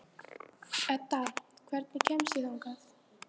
Edda, hvernig kemst ég þangað?